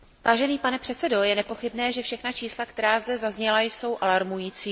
Vážený pane předsedající, je nepochybné, že všechna čísla, která zde zazněla, jsou alarmující.